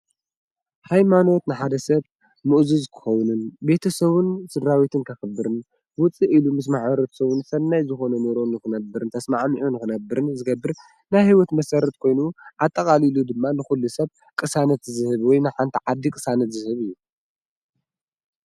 ሃይማኖት ንሓደ ሰብ ምእዙዝ ክኸውን ቤተሰቡን ስድራቤቱን ከኽብርን ውፅእ ኢሉ ምስ ማሕበረሰቡን ሰናይ ዝኾነ ኑሮ ንክነብር ተስማዕሚዑ ንኽነብርን ዝገብር ናይ ህይወት መሰረት ኮይኑ ኣጠቓሊሉ ድማ ንኹሉ ሰብ ቅሳነት ዝህቡ ወይ ንሓንቲ ዓዲ ቅሳነት ዝህብ እዩ ።